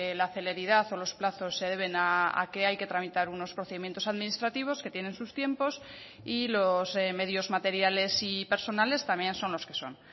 la celeridad o los plazos se deben a que hay que tramitar unos procedimientos administrativos que tienen sus tiempos y los medios materiales y personales también son los que son